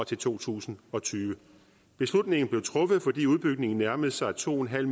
til to tusind og tyve beslutningen blev truffet fordi udbygningen nærmede sig to en halv